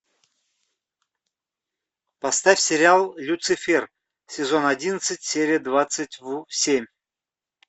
поставь сериал люцифер сезон одиннадцать серия двадцать семь